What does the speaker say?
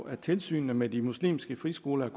at tilsynet med de muslimske friskoler er